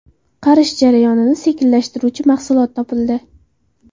Qarish jarayonini sekinlashtiruvchi mahsulot topildi.